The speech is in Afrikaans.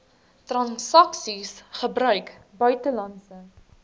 transaksies gebruik buitelandse